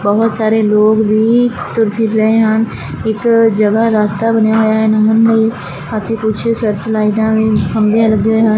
ਬਹੁਤ ਸਾਰੇ ਲੋਕ ਵੀ ਤੁਰ ਫਿਰ ਰਹੇ ਹਨ ਇੱਕ ਜਗਹਾ ਰਸਤਾ ਬਣਿਆ ਹੋਇਆ ਲੰਘਣ ਲਈ ਅਤੇ ਕੁਝ ਸਰਚ ਲਾਈਟਾਂ ਵੀ ਖੰਬੇ ਲੱਗੇ ਹੋਏ ਹਨ।